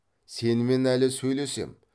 сенімен әлі сөйлесем